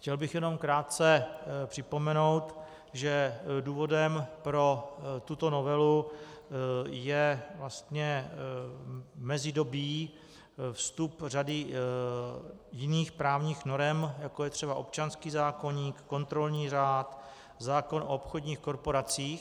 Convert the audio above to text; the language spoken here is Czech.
Chtěl bych jenom krátce připomenout, že důvodem pro tuto novelu je vlastně mezidobí, vstup řady jiných právních norem, jako je třeba občanský zákoník, kontrolní řád, zákon o obchodních korporacích.